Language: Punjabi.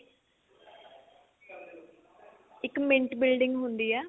ਇੱਕ mint building ਹੁੰਦੀ ਏ